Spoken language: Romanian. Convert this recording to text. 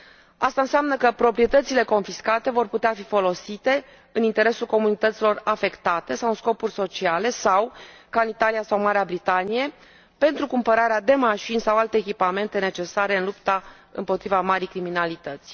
Aceasta înseamnă că proprietățile confiscate vor putea fi folosite în interesul comunităților afectate sau în scopuri sociale sau, ca în Italia sau Marea Britanie, pentru cumpărarea de mașini sau alte echipamente necesare în lupta împotriva marii criminalități.